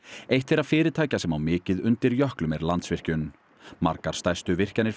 eitt þeirra fyrirtækja sem á mikið undir jöklum er Landsvirkjun margar stærstu virkjanir